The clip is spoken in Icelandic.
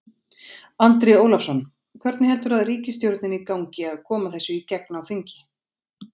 Andri Ólafsson: Hvernig heldurðu ríkisstjórninni gangi að koma þessu í gegn á þingi?